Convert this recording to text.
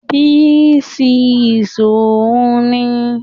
B6yh òun ni